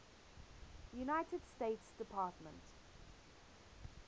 united states department